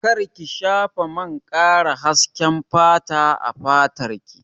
Kar ki shafa man ƙara hasken fata a fatar ki!